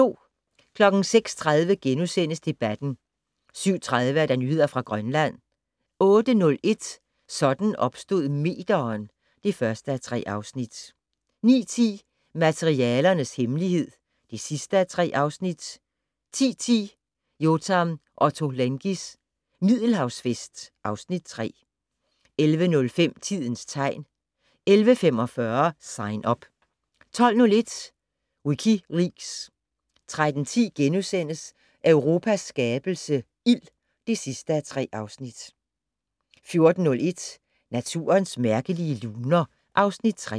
06:30: Debatten * 07:30: Nyheder fra Grønland 08:01: Sådan opstod meteren (1:3) 09:10: Materialernes hemmelighed (3:3) 10:10: Yotam Ottolenghis Middelhavsfest (Afs. 3) 11:05: Tidens tegn 11:45: Sign Up 12:01: WikiLeaks 13:10: Europas skabelse - ild (3:3)* 14:01: Naturens mærkelige luner (Afs. 3)